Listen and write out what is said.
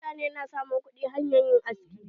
Mutane su na samun kuɗi hanyar yin haski.